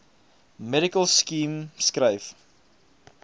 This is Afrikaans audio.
medical scheme skryf